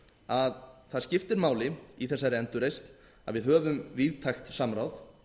að það skiptir máli í þessari endurreisn að við höfum víðtækt samráð